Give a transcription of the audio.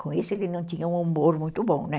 Com isso, ele não tinha um humor muito bom, né?